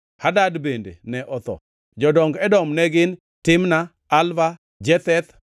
Hadad bende ne otho. Jodong Edom ne gin: Timna, Alva, Jetheth